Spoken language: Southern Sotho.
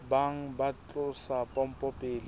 bang ba tlosa pompo pele